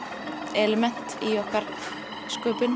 element í okkar